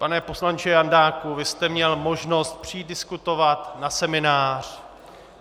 Pane poslanče Jandáku, vy jste měl možnost přijít diskutovat na seminář.